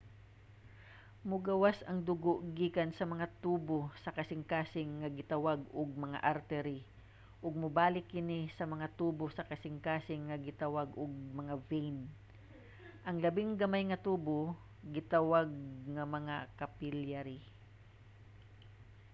mogawas ang dugo gikan sa mga tubo sa kasingkasing nga gitawag ug mga artery ug mobalik kini sa mga tubo sa kasingkasing nga gitawag og mga vein. ang labing gamay nga tubo gitawag nga mga capillary